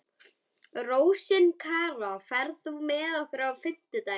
Rósinkara, ferð þú með okkur á fimmtudaginn?